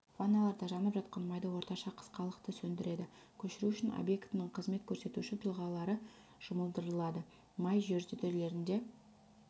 ванналардағы жанып жатқан майды орташа қысқалықты сөндіреді көшіру үшін объектінің қызмет көрсетуші тұлғалары жұмылдырылады май жертөлелерінде